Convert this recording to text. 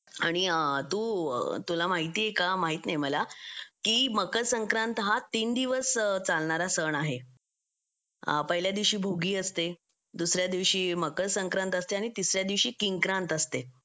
आणि तू तुला माहिती आहे का माहित नाही मला की मकर संक्रांत हा तीन दिवस चालणारा सण आहे पहिल्या दिवशी भोगी असते दुसऱ्या दिवशी मकर संक्रांत असते आणि तिसऱ्या दिवशी किंक्रांत असते